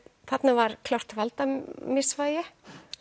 þarna var klárt valdamisvægi